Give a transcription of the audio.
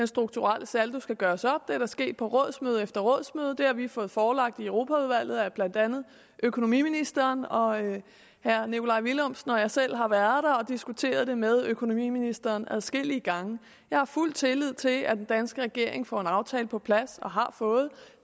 strukturelle saldo skal gøres op det er sket på rådsmøde efter rådsmøde det har vi fået forelagt i europaudvalget af blandt andet økonomiministeren og herre nikolaj villumsen og jeg selv har været der og diskuteret det med økonomiministeren adskillige gange jeg har fuld tillid til at den danske regering får en aftale på plads og har fået